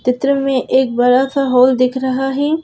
चित्र में एक बड़ा सा होल दिख रहा है।